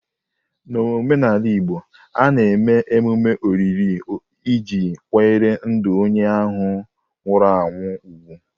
N'omenala Igbo, a na-eme mmemme olili iji kwanyere ndụ onye nwụrụ anwụ ùgwù.